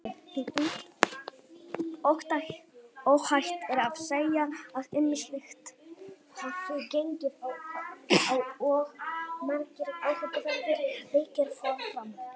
Óhætt er að segja að ýmislegt hafi gengið á og margir áhugaverðir leikir fóru fram.